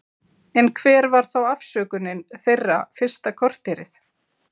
En hver var þá afsökunin þeirra fyrsta korterið?